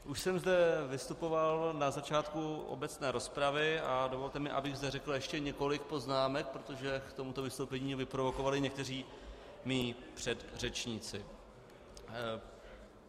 Už jsem zde vystupoval na začátku obecné rozpravy a dovolte mi, abych zde řekl ještě několik poznámek, protože k tomuto vystoupení mě vyprovokovali někteří mí předřečníci.